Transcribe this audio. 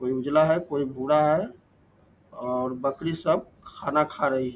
कोई उजला है कोई भूरा है और बकरी सब खाना खा रही।